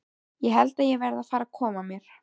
Ég held að ég verði að fara að koma mér.